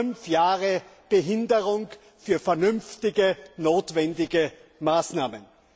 Fünf Jahre Behinderung für vernünftige, notwendige Maßnahmen!